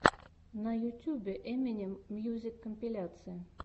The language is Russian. на ютьюбе эминем мьюзик компиляция